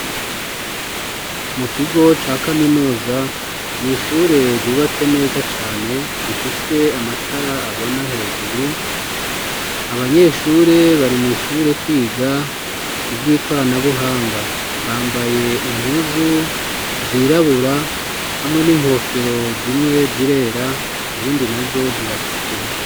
Mu kigo ca kaminuza, ni ishure ryubatse neza cane rifise amatara abona hejuru. Abanyeshure bari mw'ishure kwiga ivy'ikoranabuhanga. Bambaye impuzu zirabura hamwe n'inkofero zimwe zirera, izindi na zo ziratukura.